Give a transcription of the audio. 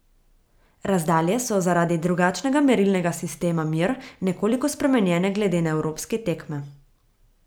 Razdalje so zaradi drugačnega merilnega sistema mer nekoliko spremenjene glede na evropske tekme.